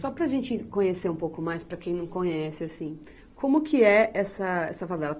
Só para a gente conhecer um pouco mais, para quem não conhece, assim, como que é essa, essa favela?